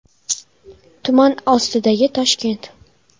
Tuman ostidagi Toshkent .